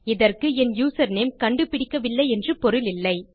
இதற்கு என் யூசர்நேம் கண்டுபிடிக்கவில்லை என்று பொருளில்லை